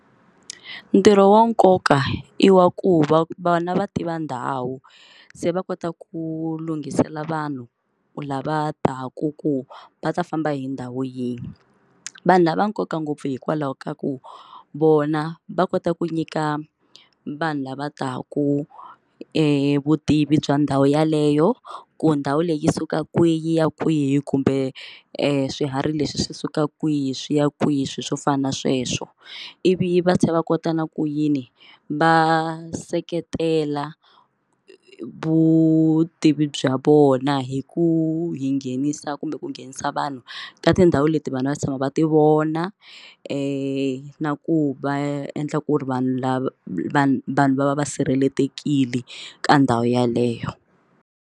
Ntirho wa nkoka i wa ku va vana va tiva ndhawu se va kota ku lunghisela vanhu lava taka ku va ta famba hi ndhawu yin'we vanhu lava nkoka ngopfu hikwalaho ka ku vona va kota ku nyika vanhu lava taka vutivi bya ndhawu yeleyo ku ndhawu leyi yi suka kwihi ya kwihi kumbe e swiharhi leswi swi suka kwihi swi ya kwihi swilo swo fana na sweswo ivi va tlhela va kota na ku yini va seketela vutivi bya vona hi ku hi nghenisa kumbe ku nghenisa vanhu ka tindhawu leti vanhu va tshama va ti vona na ku va endla ku ri vanhu lava vanhu vanhu va va va sirhelelekile ka ndhawu yeleyo.